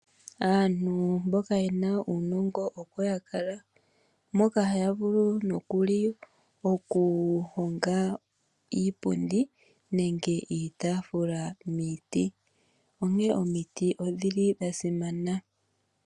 Aantu mboka yena uunongo oko yakala mboka haya vulu nokuli okuhonga iipundi nenge iitaafula miiti, onkee omiti odhili dhasimana.